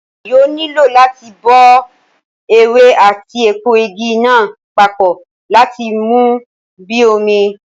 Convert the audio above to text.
Èèyàn yóò nílò láti bọ ewé àti èpo Igi náà papọ láti mú bíi omi